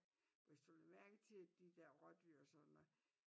Hvi du lagde mærke til de der rådyr og sådan noget